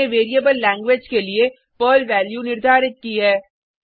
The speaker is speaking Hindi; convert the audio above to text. हमने वेरिएबल लैंग्वेज के लिए पर्ल वैल्यू निर्धारित की है